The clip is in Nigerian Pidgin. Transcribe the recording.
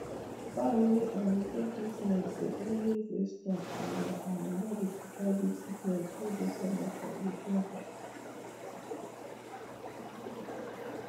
fowl wey um take treatment dey always dey strong and dey um body fit fight big sickness wey dey common for we